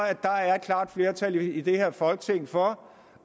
at der er et klart flertal i det her folketing for